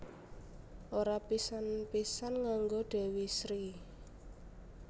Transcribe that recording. Ora pisan pisan nganggo Dewi Sri